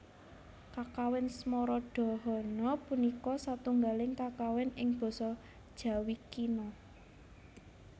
Kakawin Smaradahana punika satunggaling kakawin ing basa Jawi Kina